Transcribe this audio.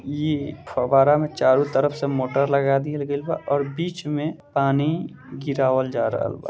इ फव्वारा में चारो तरफ से मोटर लगा दिहल गइल बा और बीच में पानी गिरावल जा रहल बा।